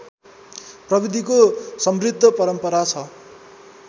प्रविधिको समृद्ध परम्परा छ